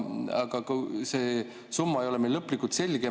Aga see summa ei ole veel lõplikult selge.